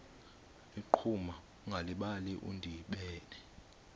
ligquma ungalibali udibene